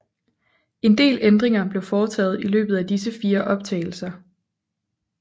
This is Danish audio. En del ændringer blev foretaget i løbet af disse fire optagelser